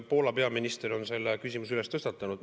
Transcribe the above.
Poola peaminister on selle küsimuse tõstatanud.